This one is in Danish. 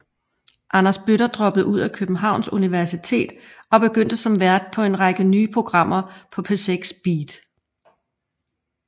Anders Bøtter droppede ud af Københavns Universitet og begyndte som vært på en række nye programmer på P6 BEAT